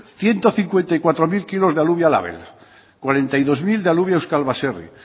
ciento cincuenta y cuatro mil kilos de alubia label cuarenta y dos mil de alubia euskal baserri